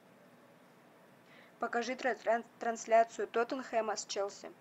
покажи трансляцию тоттенхэма с челси